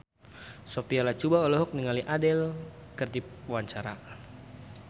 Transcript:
Sophia Latjuba olohok ningali Adele keur diwawancara